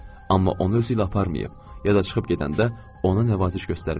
Amma onu özüylə aparmayıb, ya da çıxıb gedəndə ona nəvaziş göstərməyib.